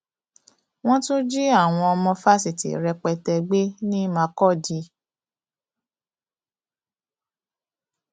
wọn tún ti jí àwọn ọmọ fásitì rẹpẹtẹ gbé ní makùdí